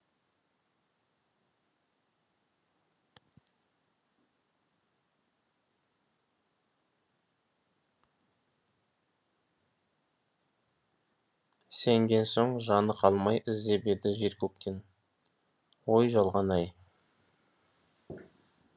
сенген соң да жаны қалмай іздеп еді жер көктен өй жалған ай